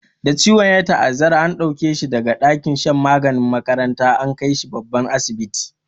Da ciwon ya ta'azzara, an dauke shi da ga dakin shan maganin makarantar, an kai shi babban asibiti.